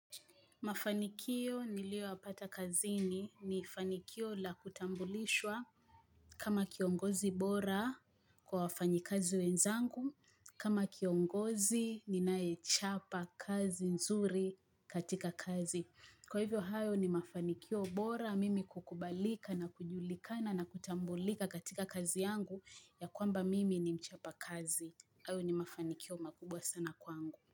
Mafanikio niliyoyapata kazini ni fanikio la kutambulishwa kama kiongozi bora kwa wafanyikazi wenzangu kama kiongozi ninayechapa kazi nzuri katika kazi. Kwa hivyo hayo ni mafanikio bora mimi kukubalika na kujulikana na kutambulika katika kazi yangu ya kwamba mimi ni mchapa kazi hayo ni mafanikio makubwa sana kwangu.